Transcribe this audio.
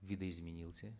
видоизменился